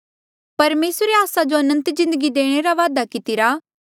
परमेसरे आस्सा जो अनंत जिन्दगी देणे रा वादा कितिरा